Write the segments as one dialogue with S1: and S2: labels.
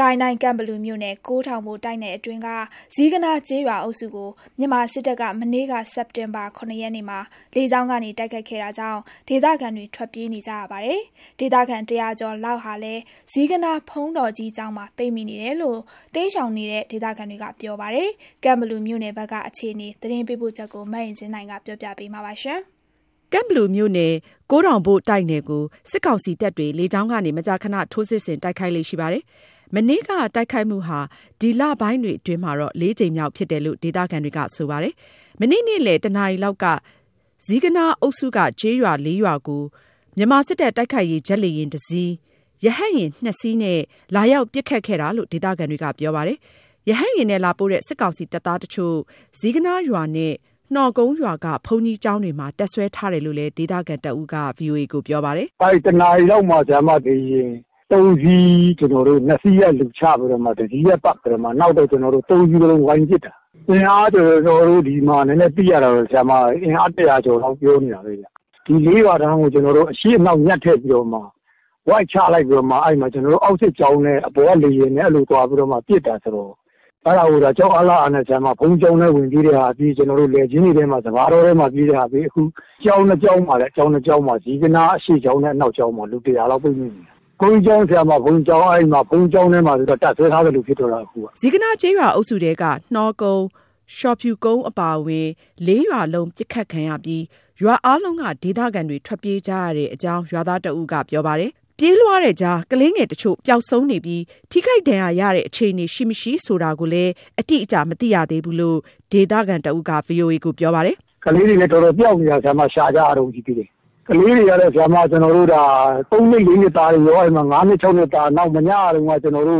S1: ကိုင်းတိုင်း ကန့်ဘလူမြို့နယ်၊ ကိုးထောင်ဘိုတိုက်နယ်အတွင်းက ဇီးကနား ကျေးရွာအုပ်စုကို မြန်မာစစ်တပ်က မနေ့က စက်တင်ဘာ ၇ ရက်မှာ လေကြောင်းကနေ တိုက်ခိုက်ခဲ့တာကြောင့် ဒေသခံတွေ ထွက်ပြေးနေကြရပြီး ဒေသခံ ၁၀၀ ကျော်လောက်လည်း ဇီးကနားဘုန်းတော်ကြီးကျောင်းမှာ ပိတ်မိနေတယ်လို့ တိမ်းရှောက်နေတဲ့ ဒေသခံတွေက ပြောပြပါတယ်။ ကန့်ဘလူမြို့နယ် အခြေအနေ သတင်းပေးပို့ချက်ကို မအင်ကြင်းနိုင်က တင်ပြပေးထားပါတယ်
S2: ။ ကန့်ဘလူမြို့နယ် ကိုးထောင်ဘိုတိုက်နယ်ကို စစ်ကောင်စီတပ်တွေ လေကြောင်းကနေ မကြာခဏ ထိုးစစ်ဆင်တိုက်ခိုက်ေ့လရှိပါတယ်။ မနေ့က တိုက်ခိုက်မှုဟာ ဒီလပိုင်းတွေအတွင်း ၄ ကြိမ်မြောက်ဖြစ်တယ်လို့ ဒေသခံတွေက ပြောပါတယ်။ မနေ့က နေ့လယ် ၁ နာရီလောက် ဇီးကနားအုပ်စုက ကျေးရွာ ၄ ရွာကို မြန်မာစစ် တပ် တိုက်ခိုက်ရေး ဂျက်လေယာဉ်တစ်စီး၊ ရဟတ်ယာဉ် ၂ စီးနဲ့ လာရောက် ပစ်ခတ်ခဲ့တာလို့ ဒေသခံတွေက ပြောပါတယ်။ ရဟတ်ယာဉ်နဲ့လာပို့တဲ့ စစ်ကောင်စီတပ်သားတချို့ ဇီးကနားရွာနဲ့ နှောကုန်းရွာက ဘုန်းကြီးကျောင်းတွေမှာ တပ်စွဲထားတယ်လို့လည်း ဒေသခံတဦးက ပ
S3: ြောပါတယ်။ “၁ နာရီလောက်မှာ လေယာဉ် ၃ စီးနဲ့ ၂ စီးက လူချပြီးတော့မှ တစီးက ပတ်ပစ်တာ။ နောက်တော့မှ ၃ စီးစလုံးက ပတ်ပစ်တာ။ သိရသလောက်ကတော့ ၁၀၀ ကျော်လောက်လို့ ပြောနေတာပဲဗျ။ ဒီ ၄ ရွာတန်းကို အရှေ့အနောက် ညှပ်ထည့်ပြီးတော့မှ ဝိုက်ချလိုက်ပြီးတော့မှ အဲ့မှာ အောက်စစ်ကြောင်းနဲ့ အပေါ်က လေယာဉ်နဲ့ ပေါင်းပစ်တာဆိုတော့.. အဲ့ဒီမှာ ကြောက်အားလန့်အားနဲ့ ဘုန်းကြီးကျောင်းထဲ ဝင်ပြေးတဲ့သူပြေး၊ လယ်ကွင်းထဲ စပါးတောထဲမှာ ပြေးပြီး ဝပ်တဲ့သူက ဝပ်နဲ့ပေါ။ အခုက ဇီးကနားကျောင်းနှစ်ကျောင်းမှာ အရှေ့ကျောင်းနဲ့ အနောက်ကျောင်းမှာ လူ ၁၀၀ လောက်ပိတ်မိနေတယ်။ ဘုန်းကြီးကျောင်းထဲမှာ တပ်စွဲထားသလိုဖြစ်တော့တာအခုက။” ဇီး
S2: ကနားကျေးရွာအုပ်စုထဲက နှောကုန်း၊ လျှော်ဖြူကုန်းအပါအဝင် ၄ ရွာလုံး ပစ်ခတ်ခံရပြီး ရွားအားလုံးက ဒေသခံတွေ ထွက်ပြေးကြရတဲ့အကြောင်း ရွာသားတဦးက ပြောပါတယ်။ ပြေးလွှားတဲ့ကြား ကလေးငယ်တချို့ ပျောက်ဆုံးနေပြီး ထိခိုက်ဒဏ်ရာရတဲ့ အခြေအနေ ရှိမရှိဆိုတာကိေုတာ့ အတိအကျ မသိရသေးဘူးလို့ ဒေသခံတဦးက
S3: ပြောပါတယ်။ “ကလေးတွေလည်း တော်တော်ပျောက်နေတာ၊ ရှာကြရတုန်း ရှိသေးတယ်။ ကလေးတွေက ၃ နှစ် ၄ နှစ်သားတွေရော၊ ၅ နှစ် ၆ နှစ်သားတွေရော။ နောက် ၉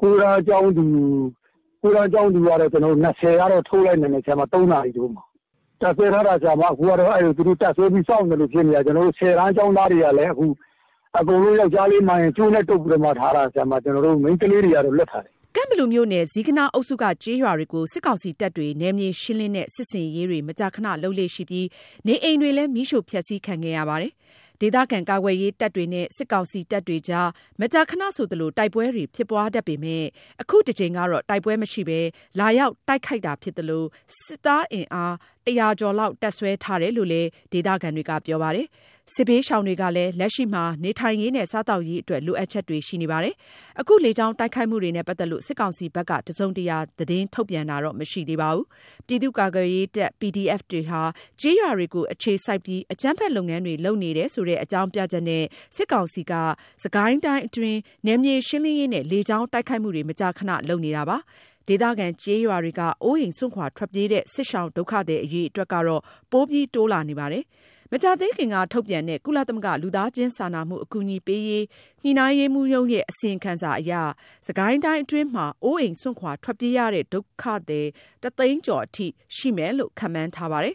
S3: တန်းကျောင်းသူ( ၉တန်း ကျောင်းသူအရွယ်) ၂၀ လောက်ကိုတော့ ထုတ်နိုင်လိုက် တယ်။ ၃ နာရီလောက်မှာ။ သူတို့က တပ်စွဲပြီး စောင့်နေသလို ဖြစ်နေတာ၊ ၁၀ တန်းကျောင်းသားတွေကလည်း (၁၀ တန်း ကျောင်းသားအရွယ်) အခုသူတို့က ယောက်ျားလေးမှန်ရင်ကို အကုန်လုံး ကြိုးနဲ့တုပ်ပြီးမှ ထားတာဗျ အကုန်လုံး။ မိန်းကလေးတွေကတော့ လွှတ်ထားတယ်။
S2: ” ကန့်ဘလူမြို့နယ်။ ဇီးကနား အုပ်စုက ကျေးရွာတွေကို စစ်ကောင်စီတပ်တွေ နယ်မြေရှင်းလင်းတဲ့ စစ်ဆင်ရေးတွေ မကြာခဏလုပ်လေ့ရှိပြီး နေအိမ်တွေလည်း မီးရှို့ဖျက်ဆီးခံခဲ့ရပါတယ်။ ဒေသခံကာကွယ်ရေးတပ်တွေနဲ့ စစ်ကောင်စီတပ်တွေအကြား မကြာခဏဆိုသလို တိုက်ပွဲတွေ ဖြစ်ပွားတတ်ပေမယ့် အခုတကြိမ်ကတော့ တိုက်ပွဲမရှိဘဲ လာရောက်တိုက်ခိုက်တာဖြစ်သလို စစ်သားအင်အား ၁၀၀ ကျော်လောက် တပ်စွဲထားတာလို့လည်း ဒေသခံတွေက ပြောပါတယ်။ စစ်ဘေးရှောင်တွေကလည်း လက်ရှိမှာ နေထိုင်ရေးနဲ့ စားသောက်ရေးအတွက် လိုအပ်ချက်တွေ ရှိနေကြပါတယ်။ အခု လေကြောင်းတိုက်ခိုက်မှုတွေနဲ့ ပတ်သက်လို့ စစ်ကောင်စီဘက်က တစုံတရာ သတင်းထုတ်ပြန်တာတော့ မရှိသေးပါဘူး။ ပြည်သူ့ကာကွယ်ရေးတပ် PDF တွေက ကျေးရွာတွေကိုအခြေစိုက်ပြီး အကြမ်းဖက် လုပ်ငန်းတွေ လုပ်နေတယ်ဆိုတဲ့အကြောင်းပြချက်နဲ့ စစ်ကောင်စီက စစ်ကိုင်းတိုင်းအတွင်း နယ်မြေရှင်းလင်းရေးနဲ့ လေကြောင်းတိုက်ခိုက်မှုတွေ မကြာခဏ လုပ်နေတာပါ။ ဒေသခံ ကျေးရွာတွေက အိုးအိမ်စွန့်ခွာထွက်ပြေးတဲ့ စစ်ရှောင်ဒုက္ခသည် အရေအတွက်ကတော့ ပိုပြီးတိုးလာနေပါတယ်။ မကြာသေးခင်ကထုတ်တဲ့ ကုလသမဂ္ဂ လူသားချင်းစာနာမှုအကူအညီပေးရေး ညှိနှိုင်းရေးမှူးရုံးရဲ့ အစီရင်ခံစာအရ စစ်ကိုင်းတိုင်းအတွင်းမှာ အိုးအိမ့်စွန့်ခွာထွက်ပြေးရတဲ့ ဒုက္ခသည် တသိန်းကျော်အထိ ရှိမယ်လို့ ခန့်မှန်းထားပါတယ်